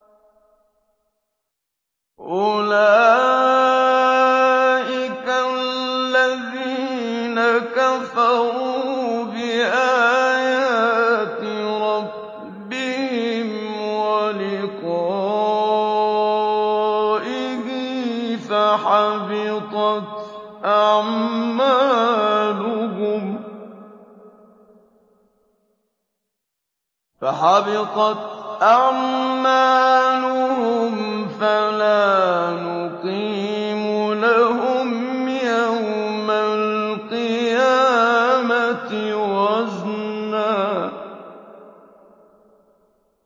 أُولَٰئِكَ الَّذِينَ كَفَرُوا بِآيَاتِ رَبِّهِمْ وَلِقَائِهِ فَحَبِطَتْ أَعْمَالُهُمْ فَلَا نُقِيمُ لَهُمْ يَوْمَ الْقِيَامَةِ وَزْنًا